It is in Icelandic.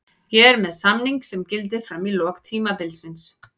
Ég er með samning sem gildir fram í lok tímabilsins.